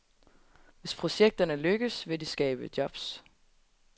Hvis projekterne lykkes, vil de skabe jobs.